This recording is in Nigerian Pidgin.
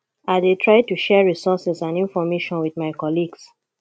i dey try to share resources and information with my colleagues